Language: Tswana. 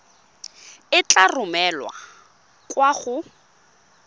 e tla romelwa kwa go